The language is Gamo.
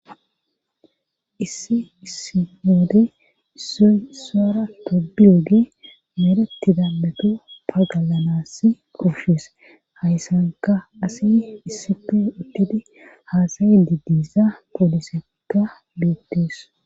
issi issi woode issoy isuwara tobiyogey merettida meto pagalana koshes hayssanka asi issife uttidi haasayi didisa poolisekka bettees